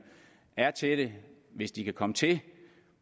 er til det hvis de kan komme til